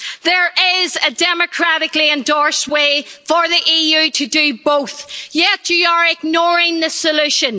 There is a democratically endorsed way for the EU to do both, yet you are ignoring the solution.